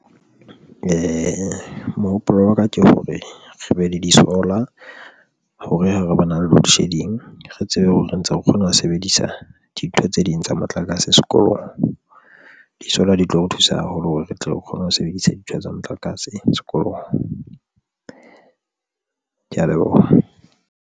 Mohopolo wa ka ke hore re be le di-solar hore ha re bana le loadshedding, re tsebe hore re ntse re kgona ho sebedisa dintho tse ding tsa motlakase sekolong di-solar di tlo re thusa haholo hore re tle re kgone ho sebedisa dintho tsa motlakase sekolong. Ke ya leboha.